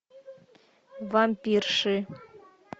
вампирши